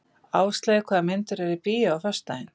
Ásleif, hvaða myndir eru í bíó á föstudaginn?